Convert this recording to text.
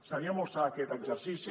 seria molt sa aquest exercici